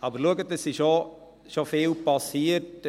Aber schauen Sie, es ist schon viel geschehen.